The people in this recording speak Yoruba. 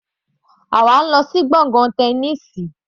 Àwa ń lọ sí gbọ̀ngàn Tẹniísì.